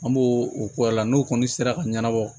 An b'o o k'o la n'o kɔni sera ka ɲɛnabɔ